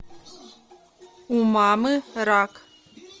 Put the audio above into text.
у мамы рак